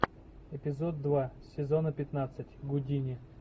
эпизод два сезона пятнадцать гудини